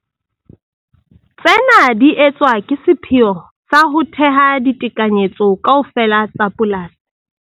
Tsena di etswa ka sepheo sa ho theha ditekanyetso kaofela tsa polasi.